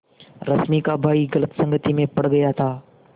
रश्मि का भाई गलत संगति में पड़ गया था